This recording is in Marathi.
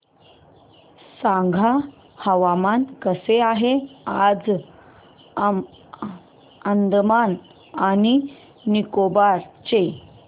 सांगा हवामान कसे आहे आज अंदमान आणि निकोबार चे